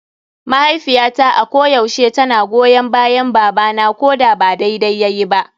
Mahaifiyata a ko yaushe tana goyon bayan baba na koda ba daidai yayi ba.